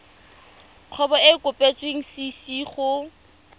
kgwebo e e kopetswengcc go